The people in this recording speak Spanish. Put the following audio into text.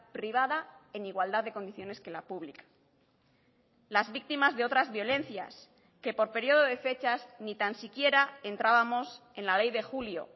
privada en igualdad de condiciones que la pública las víctimas de otras violencias que por periodo de fechas ni tan siquiera entrábamos en la ley de julio